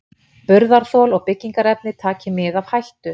Burðarþol og byggingarefni taki mið af hættu.